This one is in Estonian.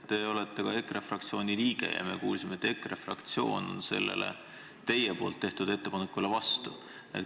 Te olete EKRE fraktsiooni liige ja me kuulsime, et EKRE fraktsioon on sellele teie tehtud ettepanekule vastu.